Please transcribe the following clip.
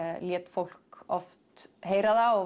lét fólk oft heyra það og